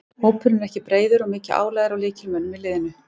Hópurinn er ekki breiður og mikið álag er á lykilmönnunum í liðinu.